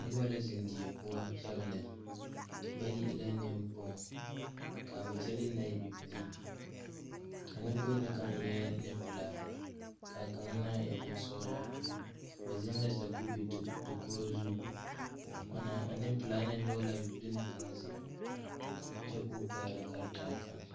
Noby la zeŋ die poɔ yaga lɛ bayi e la beŋkpomo kaa ba kyɛlee na e bibilii a nwŋkpoŋ na kaŋ eɛɛ neŋpilaa kaa kaŋa na e neŋsɔglaa ba zeŋ la sakube dakogro zu ana a neŋpilaa na kaŋ nyoge laa bibile na kaŋnu zeŋ kyɛ koo oɛgle karetaa kaŋ.